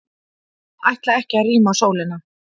Ætla ekki að rýma Sólina